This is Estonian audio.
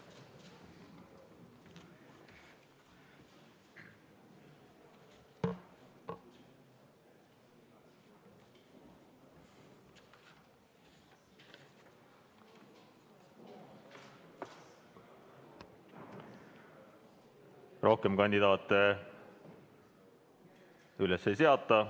Rohkem kandidaate üles ei seata.